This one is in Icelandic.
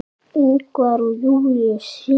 Ingvar og Júlíus syngja.